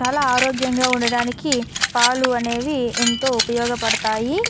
చాలా ఆరోగ్యాంగా ఉండడానికి పాలు అనేవి ఎంతో ఉపయోగ పడతాయి --